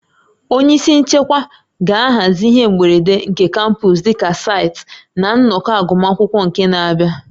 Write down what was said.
Onye isi nchekwa ga-ahazi ihe mberede nke kampọs dịka site na nnọkọ agụmakwụkwọ nke n'abịa